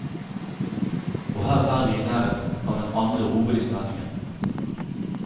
Og her er vi i nærheten av den andre hovedinnvendingen.